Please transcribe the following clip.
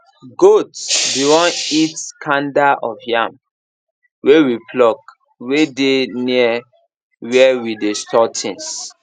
goat be won eat kanda of yam wey we pluck wey dey near where we dey store things